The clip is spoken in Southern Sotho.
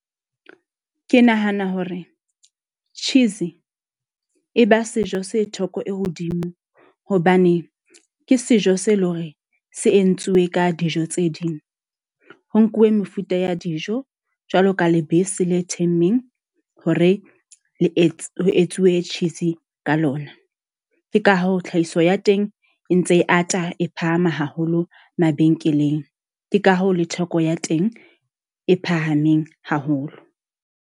Ke nahana hore cheese e ba sejo se theko e hodimo hobane ke sejo se leng hore se entsiwe ka dijo tse ding. Ho nkuwe mefuta ya dijo jwalo ka lebese le themmeng, hore le etse etsuwe cheese ka lona. Ke ka hoo tlhahiso ya teng e ntse e ata, e phahame haholo mabenkeleng. Ke ka hoo le theko ya teng e phahameng haholo.